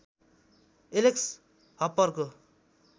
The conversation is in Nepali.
एलेक्स हप्परको